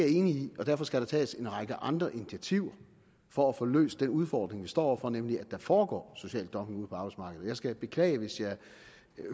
enig i og derfor skal der tages en række andre initiativer for at få løst den udfordring vi står over for nemlig at der foregår social dumping ude på arbejdsmarkedet jeg skal beklage hvis jeg